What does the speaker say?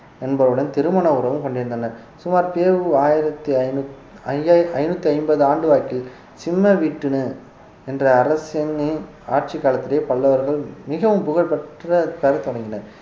என்பவருடன் திருமண உறவும் கொண்டிருந்தனர் சுமார் பெ உ ஆயிரத்தி ஐநூத்~ ஐயாயி~ ஐநூத்தி ஐம்பது ஆண்டு வாக்கில் சிம்மவிட்டுணு என்ற அரசனின் ஆட்சிக் காலத்திலே பல்லவர்கள் மிகவும் புகழ்பெற்ற தொடங்கினர்